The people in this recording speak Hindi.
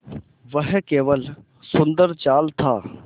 वह केवल सुंदर जाल था